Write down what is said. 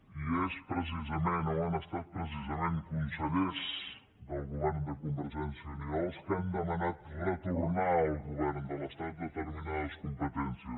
i han estat precisament consellers del govern de convergèn·cia i unió els que han demanat retornar al govern de l’estat determinades competències